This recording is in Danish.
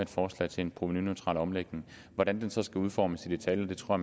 forslag til en provenuneutral omlægning hvordan det så skal udformes i detaljer tror